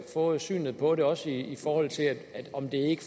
få synet på det også i forhold til om det ikke